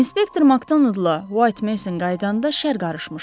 Inspektor Makdonollla Vayt Meysın qayıdanda şəhər qarışmışdı.